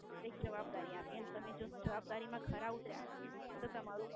એક જવાબદારી આપી અને જો તમે જવાબદારી માં ખરા ઉતર્યા તો તમારું